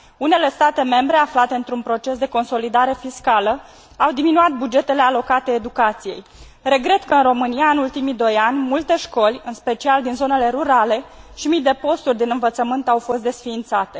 Unele state membre, aflate într un proces de consolidare fiscală, au diminuat bugetele alocate educației. Regret că în România, în ultimii doi ani, multe școli, în special din zonele rurale, și mii de posturi din învățământ au fost desființate.